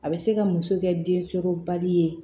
A bɛ se ka muso kɛ densɔrɔbali ye